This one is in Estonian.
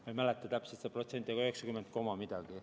Ma ei mäleta täpselt seda protsenti, 90% koma midagi.